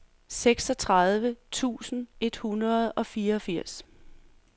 seksogtredive tusind et hundrede og fireogfirs